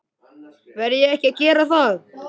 Verð ég ekki að gera það?